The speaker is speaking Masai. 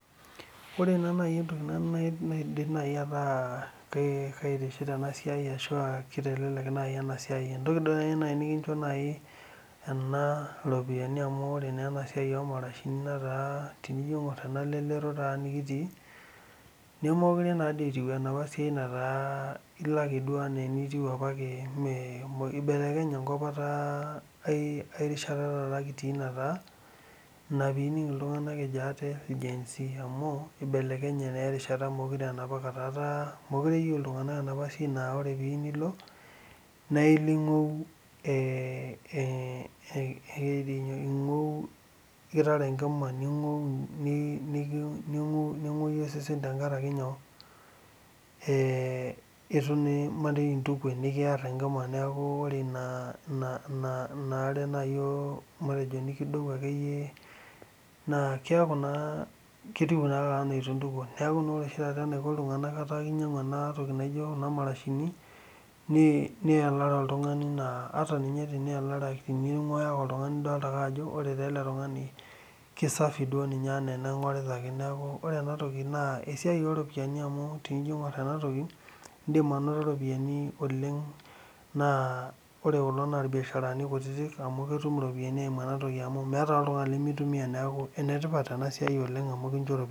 ore naa entoki naitelelek ena siai oo marashini naa keeta iropiani amu ore ena lelero nikitii naa miilo ake duo enaa enitiu itu iyalare ina marashi amu ibelekenye enkop etaa lasima peetae. meekure aa enapa rishata nilo oltungani ingou ashu kitara enkima nilo duo ake itiu nejia kingu osesen ata ninye intuke amu ekiar enkima neeku meijo ninye intuke, Neeku naa etaa kinyangu iltunganak kuna marashini peeyalare naa kitodolu ninye ajo safi ele tungani. Ene tipat sii ena siai amu ekincho iropiani ashu faida sapuk